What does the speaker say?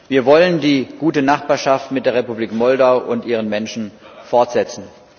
Wir wollen die gute Nachbarschaft mit der Republik Moldau und ihren Menschen fortsetzen.